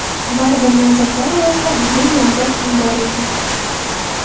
Baribir nomzodlar orasida bizning nomzod ham bor ekan.